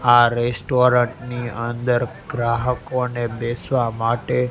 આ રેસ્ટોરન્ટ ની અંદર ગ્રાહકો ને બેસવા માટે--